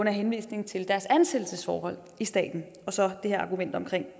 henvisning til deres ansættelsesforhold i staten og så det her argument om